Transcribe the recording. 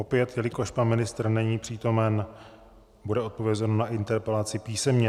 Opět, jelikož pan ministr není přítomen, bude odpovězeno na interpelaci písemně.